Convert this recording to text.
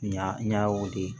Ɲa n ɲa weele